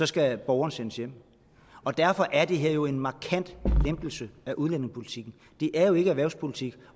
skal borgerne sendes hjem og derfor er det her jo en markant lempelse af udlændingepolitikken det er jo ikke erhvervspolitik